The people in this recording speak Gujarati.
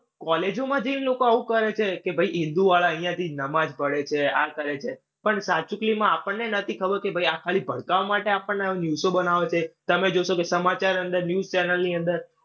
કૉલેજોમાં જઈને લોકો આવું કરે છે કે ભાઈ હિન્દુ વાળા અઇયાં થી નમાજ પઢે છે, આ કરે છે. પણ સાચું આપણને નઈ ખબર કે ભાઈ આ ખાલી ભડકાવા માટે આપડને આવી news ઓ બનાવે છે. તમે જોશો કે સમાચાર અંદર, news channel ની અંદર